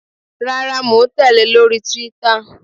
Rárá, mò ń tèlé lórí Twitter.